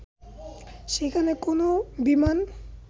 সেখানে কোনও বিমান